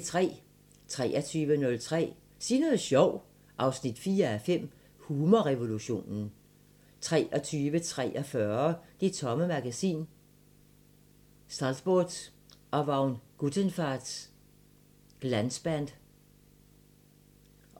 23:03: Sig noget sjovt 4:5 – Humorrevolutionen 23:43: Det Tomme Magasin: Saltbot og Vagn Guttenfarts Glansband